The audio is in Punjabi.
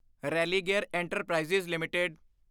Religare enterprises LTD